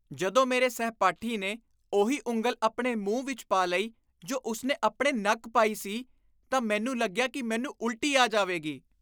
ਜਦੋਂ ਮੇਰੇ ਸਹਿਪਾਠੀ ਨੇ ਉਹੀ ਉਂਗਲ ਆਪਣੇ ਮੂੰਹ ਵਿੱਚ ਪਾ ਲਈ ਜੋ ਉਸ ਨੇ ਆਪਣੇ ਨੱਕ ਪਾਈ ਸੀ ਤਾਂ ਮੈਨੂੰ ਲੱਗਿਆ ਕਿ ਮੈਨੂੰ ਉਲਟੀ ਆ ਜਾਵੇਗੀ।